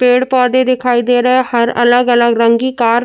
पेड़ पौधे दिखाई दे रहे हैं हर अलग-अलग रंग की कार --